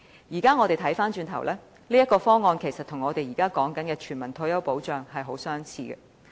現在看來，這個方案其實與現時所說的全民退休保障很相似。